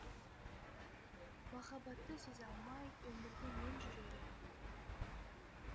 махаббатты сезе алмай өмірде мен жүрер ем